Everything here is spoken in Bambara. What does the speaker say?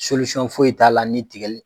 foyi t'a la ni tigɛli